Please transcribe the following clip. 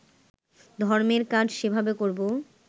ধর্মের কাজ সেভাবে করবো